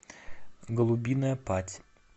голубиная падь